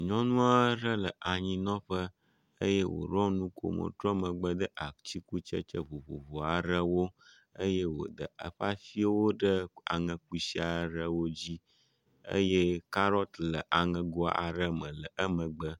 Nyɔnu aɖe le anyinɔƒe eye woɖɔ nukomo trɔ megbe de atikutsetse vovovo aɖewo eye wode eƒe asiwo ɖe aŋekusi aɖewo dzi eye kaɖɔt le aŋego aɖe me le emegbe.